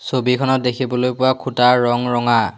ছবিখনত দেখিবলৈ পোৱা খুঁটাৰ ৰঙ ৰঙা।